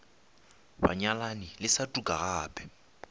banyalani le sa tuka gape